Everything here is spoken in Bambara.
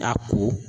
A ko